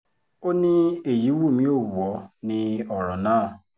ó ní èyí wù mí ó wù ọ́ ní ọ̀rọ̀ náà